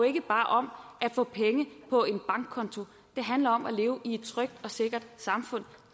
ikke bare om at få penge på en bankkonto det handler om at leve i et trygt og sikkert samfund